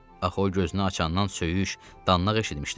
Axı o gözünü açandan söyüş, danlaq eşitmişdi.